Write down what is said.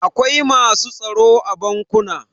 Akwai masu tsaro a bankuna.